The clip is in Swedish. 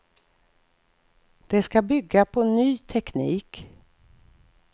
Det ska bygga på ny teknik.